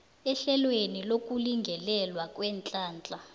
ehlelweni lokulingelelwa kweenhlahla